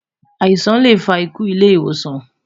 àìsàn lẹ fà ikú ilé ìwòsan